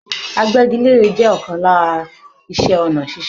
Agbẹ́gilére je ọkàn lára ìṣe ọ̀nà ṣíṣe.